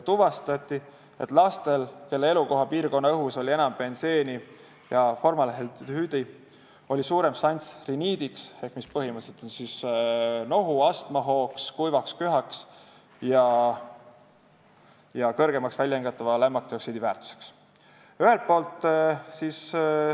Tuvastati, et lastel, kelle elupiirkonna õhus oli enam benseeni ja formaldehüüdi, oli suurem šanss riniidi , astmahoo, kuiva köha ja väljahingatava lämmastikdioksiidi kõrgema väärtuse tekkeks.